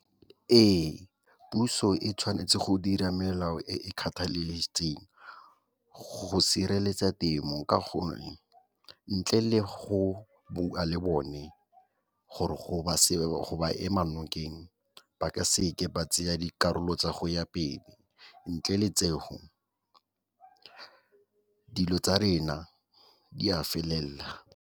Ee, puso e tshwanetse go dira melao e e go sireletsa temo ka gonne, ntle le go bua le bone gore go ba ema nokeng ba ka seke ba tseya dikarolo tsa go ya pele ntle le tseo, dilo tsa rena di a felelela.